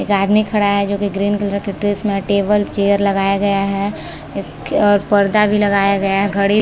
एक आदमी खड़ा है जो की ग्रीन कलर की ड्रेस में है टेबल चेयर लगाया गया है और पर्दा भी लगाया गया है घडी--